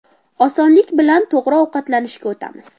Osonlik bilan to‘g‘ri ovqatlanishga o‘tamiz.